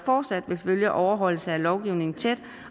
fortsat at følge overholdelsen af lovgivningen tæt